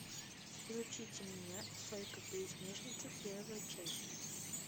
включите мне сойка пересмешница первая часть